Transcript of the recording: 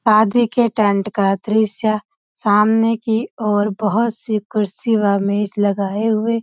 शादी के टेंट का दृश्य सामने की ओर बहोत सी कुर्सी व मेज लगाए हुए।